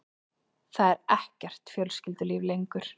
Það er ekkert fjölskyldulíf lengur.